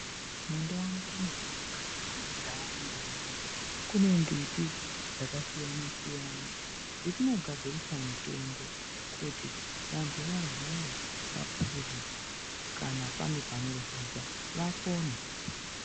Mundau mwedu etatinogara kumaNdau unono, mune mbiti dzakasiyana-siyana dzetinogadzirisa mitombo kuti vantu varwara vapuuze, kana pane panorwadza vapone.